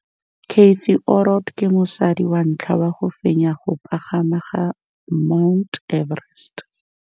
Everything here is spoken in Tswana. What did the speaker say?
Cathy Odowd ke mosadi wa ntlha wa go fenya go pagama ga Mt Everest.